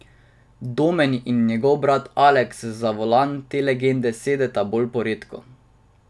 Domen in njegov brat Aleks za volan te legende sedeta bolj poredko.